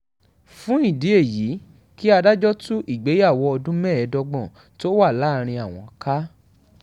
fún ìdí èyí kí adájọ́ tú ìgbéyàwó ọdún mẹ́ẹ̀ẹ́dọ́gbọ̀n tó wà láàrin àwọn ká